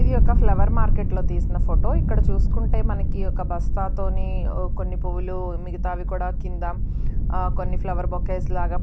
ఇది ఒక flower market లో తీసిన ఫోటో ఇక్కడ చూసుకుంటే మనకి ఒక బస్తా తోని కొన్ని పూలు మిగతావి కూడా కింద ఆ కొన్ని ఫ్లవర్ బొకేస్ లాగా